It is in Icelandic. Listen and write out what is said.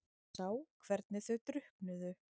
Sá hvernig þau drukknuðu.